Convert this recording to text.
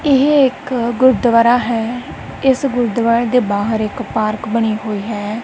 ਇਹ ਇੱਕ ਗੁਰਦੁਆਰਾ ਹੈ ਇਸ ਗੁਰਦੁਆਰੇ ਦੇ ਬਾਹਰ ਇੱਕ ਪਾਰਕ ਬਣੀ ਹੋਈ ਹੈ।